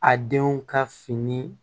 A denw ka fini